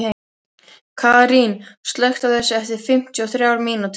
Karín, slökktu á þessu eftir fimmtíu og þrjár mínútur.